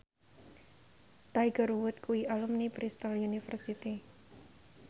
Tiger Wood kuwi alumni Bristol university